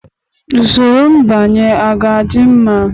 Usoro mbanye a ga-adị mma?